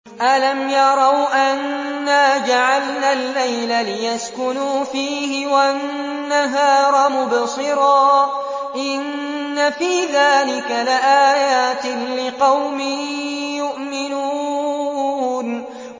أَلَمْ يَرَوْا أَنَّا جَعَلْنَا اللَّيْلَ لِيَسْكُنُوا فِيهِ وَالنَّهَارَ مُبْصِرًا ۚ إِنَّ فِي ذَٰلِكَ لَآيَاتٍ لِّقَوْمٍ يُؤْمِنُونَ